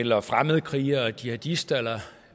eller fremmedkrigere jihadister eller